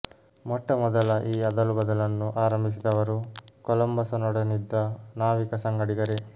ಮೊಟ್ಟ ಮೊದಲ ಈ ಅದಲು ಬದಲನ್ನು ಆರಂಭಿಸಿದವರು ಕೊಲಂಬಸನೊಡನಿದ್ದ ನಾವಿಕ ಸಂಗಡಿಗರೇ